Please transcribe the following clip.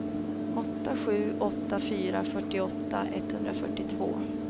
åtta sju åtta fyra fyrtioåtta etthundrafyrtiotvå